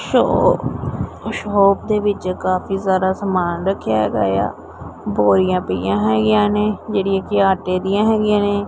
ਸੋ shop ਦੇ ਵਿੱਚ ਕਾਫੀ ਸਾਰਾ ਸਮਾਨ ਰੱਖਿਆ ਹੈਗਾ ਆ ਬੋਰੀਆਂ ਪਈਆਂ ਹੈਗੀਆਂ ਨੇ ਜਿਹੜੀਆਂ ਕਿ ਆਟੇ ਦੀਆਂ ਹੈਗੀਆਂ ਨੇ।